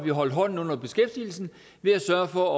holdt hånden under beskæftigelsen ved at sørge for